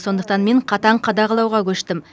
сондықтан мен қатаң қадағалауға көштім